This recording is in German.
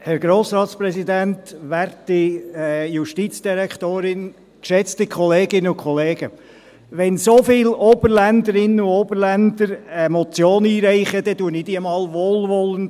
Wenn so viele Oberländerinnen und Oberländer eine Motion einreichen, dann lese ich sie einmal wohlwollend;